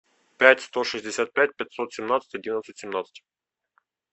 пять сто шестьдесят пять пятьсот семнадцать одиннадцать семнадцать